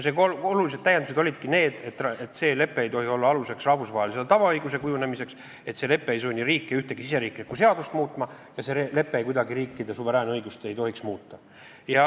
Need olulised täiendused olidki need, et see lepe ei tohi olla aluseks rahvusvahelise tavaõiguse kujunemisele, et see lepe ei tohi sundida riike ühtegi riigisisest seadust muutma ja see lepe ei tohiks kuidagi riikide suveräänõigust muuta.